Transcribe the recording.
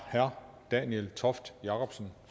herre daniel toft jakobsen